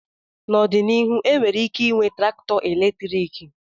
N'ọdịnihu enwere ike ịnwe traktọ eletriki.